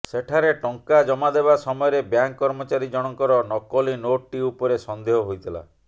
ସେଠାରେ ଟଙ୍କା ଜମାଦେବା ସମୟରେ ବ୍ୟାଙ୍କ କର୍ମଚାରୀ ଜଣଙ୍କର ନକଲି ନୋଟଟି ଉପରେ ସନ୍ଦେହ ହୋଇଥିଲା